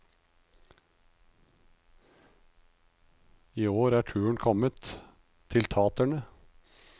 I år er turen kommet til taterne.